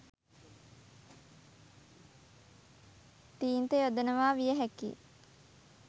තීන්ත යොදනවා විය හැකියි.